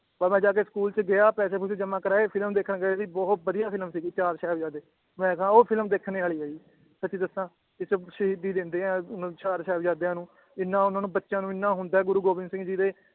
ਬੱਸ ਮੈ ਜਾ ਆਕੇ ਸਕੂਲ ਚ ਗਿਆ ਪੈਸੇ ਪੂਸੇ ਜਮਾ ਕਰਾਏ ਫਿਲਮ ਦੇਖਣ ਗਏ ਅਸੀ ਬਹੁਤ ਬਦਿਆ ਫਿਲਮ ਸੀਗੀ ਚਾਰ ਸਾਹਿਬਜ਼ਾਦੇ ਮੈ ਕਾ ਉਹ ਫਿਲਮ ਦੇਖਣੇ ਵਾਲੀ ਏ ਜੀ ਸਚੀ ਦੱਸਾਂ ਇਚ ਸ਼ਹੀਦੀ ਦਿੰਦੇ ਏ ਚਾਰ ਸਾਹਿਬਜ਼ਾਦਿਆਂ ਨੂੰ ਇਹਨਾਂ ਉਹਨਾਂ ਨੂੰ ਬੱਚਿਆਂ ਨੂੰ ਇਹਨਾਂ ਹੁੰਦਾ ਏ ਗੁਰੂ ਗੋਬਿੰਦ ਸਿੰਘ ਜੀ ਦੇ